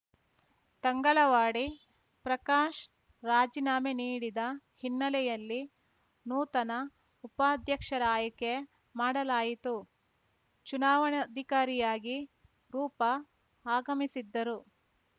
ತಂಗಳವಾಡಿ ಪ್ರಕಾಶ್‌ ರಾಜಿನಾಮೆ ನೀಡಿದ ಹಿನ್ನೆಲೆಯಲ್ಲಿ ನೂತನ ಉಪಾಧ್ಯಕ್ಷರ ಆಯ್ಕೆ ಮಾಡಲಾಯಿತು ಚುನಾವಣಾಧಿಕಾರಿಯಾಗಿ ರೂಪಾ ಆಗಮಿಸಿದ್ದರು